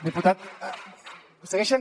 diputat segueixen